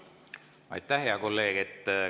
Aitäh, hea kolleeg!